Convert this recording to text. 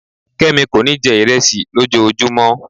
kemi kọ ní jẹ iresi lòjojúmo mọ